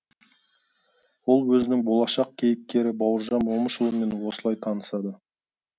ол өзінің болашақ кейіпкері бауыржан момышұлымен осылай танысады